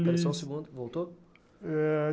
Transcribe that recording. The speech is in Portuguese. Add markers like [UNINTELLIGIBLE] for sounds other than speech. Só um segundo, voltou? [UNINTELLIGIBLE]